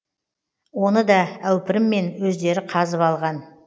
оны да әупіріммен өздері қазып алған